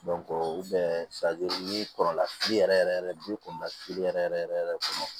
n'i kɔrɔla fili yɛrɛ yɛrɛ bi kunda fili yɛrɛ yɛrɛ yɛrɛ yɛrɛ kɔnɔ